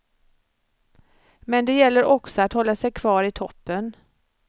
Men det gäller också att hålla sig kvar i toppen.